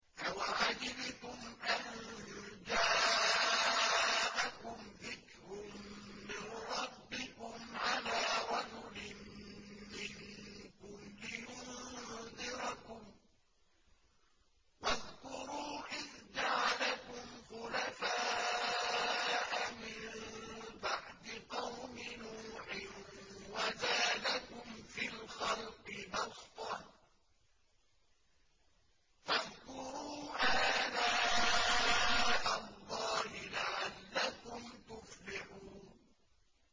أَوَعَجِبْتُمْ أَن جَاءَكُمْ ذِكْرٌ مِّن رَّبِّكُمْ عَلَىٰ رَجُلٍ مِّنكُمْ لِيُنذِرَكُمْ ۚ وَاذْكُرُوا إِذْ جَعَلَكُمْ خُلَفَاءَ مِن بَعْدِ قَوْمِ نُوحٍ وَزَادَكُمْ فِي الْخَلْقِ بَسْطَةً ۖ فَاذْكُرُوا آلَاءَ اللَّهِ لَعَلَّكُمْ تُفْلِحُونَ